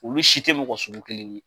Olu si tɛ mɔgɔ sugu kelen ye.